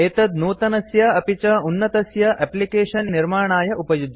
एतत् नूतनस्य अपि च उन्नतस्य एप्लिकेशन् इत्यस्य निर्माणाय उपयुज्यते